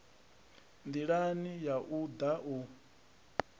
ndilani ya u da u